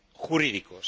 jurídicos.